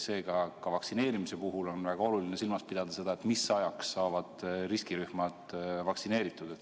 Seega ka vaktsineerimise puhul on väga oluline silmas pidada, mis ajaks saavad riskirühmad vaktsineeritud.